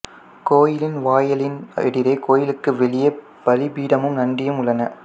கோயிலின் வாயிலின் எதிரே கோயிலுக்கு வெளியே பலி பீடமும் நந்தியும் உள்ளன